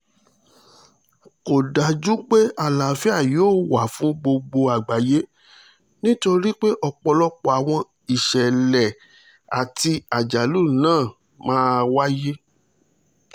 kò dájú pé àlàáfíà yóò wà fún gbogbo àgbáyé nítorí pé ọ̀pọ̀lọpọ̀ àwọn ìṣẹ̀lẹ̀ àti àjálù ńlá máa wáyé